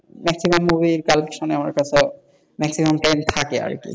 Maximum movie collection আমার কাছে maximum time থাকে আর কি,